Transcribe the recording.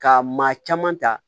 Ka maa caman ta